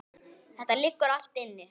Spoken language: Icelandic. Þetta liggur allt inni